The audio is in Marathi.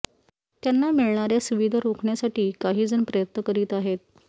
त्यांना मिळणाऱया सुविधा रोखण्यासाठी काही जण प्रयत्न करीत आहेत